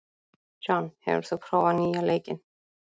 John, hefur þú prófað nýja leikinn?